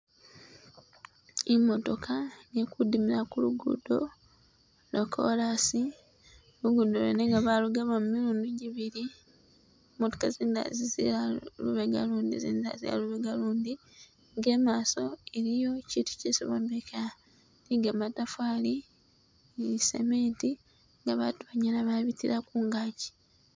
Imotoka ikudimila kulugudo lwa korasi lugudo lwene nga balugabamo milundi jibili motoka zindila zizila lubega lundi izindi za zila lubega lundi nga imaso waliyo kitu kyesi bombeka ni kamatafari ni cement nga batu banyala babitila kungaji